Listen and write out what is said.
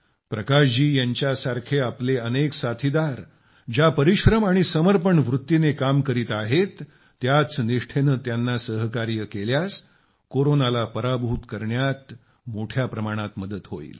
प्रकाश जी यांच्यासारखे आपले अनेक साथीदार ज्या परिश्रम आणि समर्पण वृत्तीने काम करत आहेत त्याच निष्ठेने त्यांना सहकार्य केल्यास कोरोनाला पराभूत करण्यात मोठ्या प्रमाणात मदत होईल